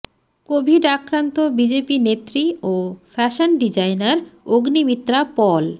Covid আক্রান্ত BJP নেত্রী ও ফ্যাশন ডিজাইনার অগ্নিমিত্রা পল